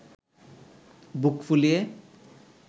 বুক ফুলিয়ে